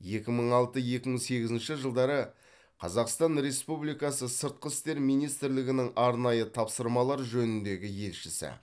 екі мың алты екі мың сегізінші жылдары қазақстан республикасы сыртқы істер министрлігінің арнайы тапсырмалар жөніндегі елшісі